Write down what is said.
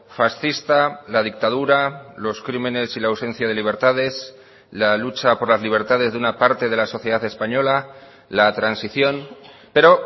fascista la dictadura los crímenes y la ausencia de libertades la lucha por las libertades de una parte de la sociedad española la transición pero